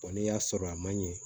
n'i y'a sɔrɔ a man ɲɛ